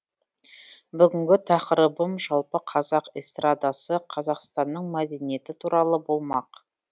бүгінгі тақырыбым жалпы қазақ эстрадасы қазақстанның мәдениеті туралы болмақ